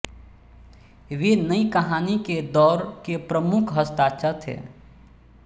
वे नयी कहानी के दौर के प्रमुख हस्ताक्षर थे